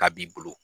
K'a b'i bolo